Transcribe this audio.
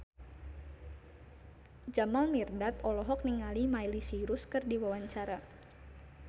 Jamal Mirdad olohok ningali Miley Cyrus keur diwawancara